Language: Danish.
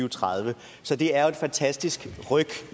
og tredive så det er jo et fantastisk ryk